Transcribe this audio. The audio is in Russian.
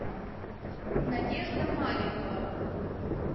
надежда маликова